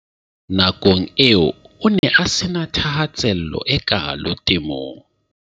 Na kong eo o ne a se na thahase llo e kaalo temong.